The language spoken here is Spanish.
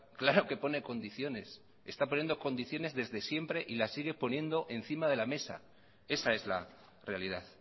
claro que pone condiciones está poniendo condiciones desde siempre y las sigue poniendo encima de la mesa esa es la realidad